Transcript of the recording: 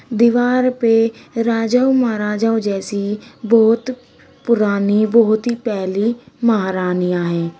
दीवार पे राजाओं महाराजाओं जैसी बहोत पुरानी बहोत ही पेहली महारानियां है।